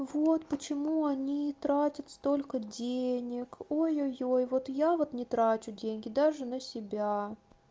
вот почему они тратят столько денег о ё ёй вот я вот не трачу деньги даже на себя